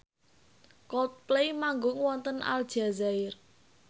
Coldplay manggung wonten Aljazair